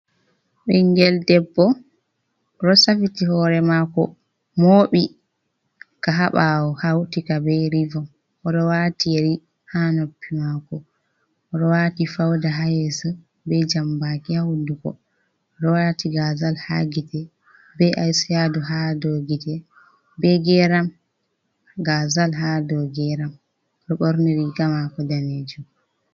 Ɓingel debbo ɗo safiti hore mako moɓi ka ha ɓaawo, hautika be rivon. O ɗo wati yeri ha noppi mako. O ɗo wati fauda ha yeso, be jambaki ha hunduko. O ɗo wati gazal ha gite, be aishado ha dou gite be geram, gazal ha dou geram, o ɗo ɓorni riga mako daneejum.